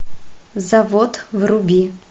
завод вруби